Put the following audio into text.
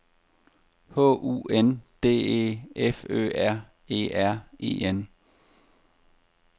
H U N D E F Ø R E R E N